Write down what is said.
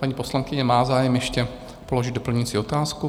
Paní poslankyně má zájem ještě položit doplňující otázku.